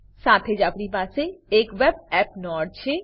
સાથે જ આપણી પાસે એક web એપ નોડ પણ છે